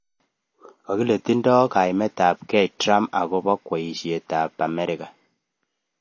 Akile tindoi kaimet ab kei Trump akobo kweishet ab amerika.